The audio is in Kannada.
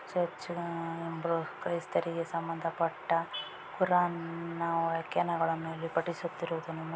ಚರ್ಚ್‌ನ ಕ್ರೈಸ್ತರಿಗೆ ಸಂಬಂಧಪಟ್ಟ ಪುರಾಣ ವಾಕ್ಯನಗಳನ್ನು ಫಟಿಸುತ್ತಿರುವುದನ್ನು